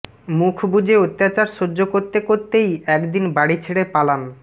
মুখ বুজে অত্যাচার সহ্য করতে করতেই একদিন বাড়ি ছেড়ে পালান